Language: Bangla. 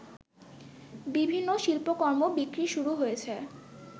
বিভিন্ন শিল্পকর্ম বিক্রি শুরু হয়েছে